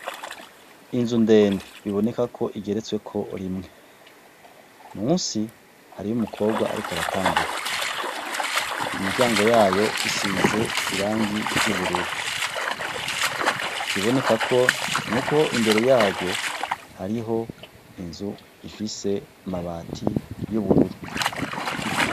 Inzu ndende biboneka ko igeretsweko rimwe, munsi hariyo umukobwa ariko aratambuka, imiryango yayo isize irangi ry'ubururu, ikiboneka ko nuko imbere yaryo hariho inzu ifise amabati y'ubururu.